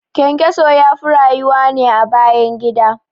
ƘyanƘyaso yafi rayuwa ne a bayan gida